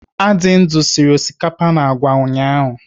Adindu sịrị osikapa na àgwà ụnyaahụ.